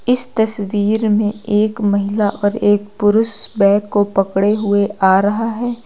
इस तस्वीर में एक महिला और एक पुरुष बैग को पकड़े हुए आ रहा है।